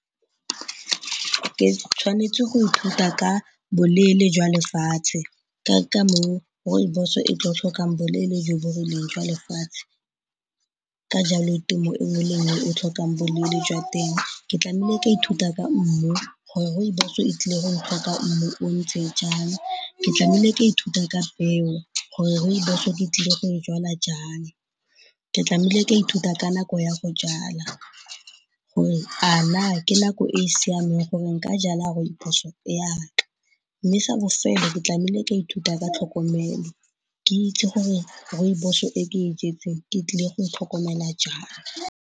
Ke tshwanetse go ithuta ka boleele jwa lefatshe ka ka moo Rooibos-o e tlo tlhokang boleele jo bo rileng jwa lefatshe. Ka jalo temo e nngwe le e nngwe e tlhokang boleele jwa teng ke tlameile ka ithuta ka mmu gore Rooibos-o e tlile go tlhoka mmu o ntse jang. Ke tlameile ka ithuta ka peo gore Rooibos-o ke tlile go e jala jang, ke tlameile ka ithuta ka nako ya go jala gore a na ke nako e e siameng gore nka jala Rooibos-o ya me, mme sa bofelo ke tlameile ka ithuta ka tlhokomelo ke itse gore Rooibos-o e ke e jetseng ke tlile go e tlhokomela jang.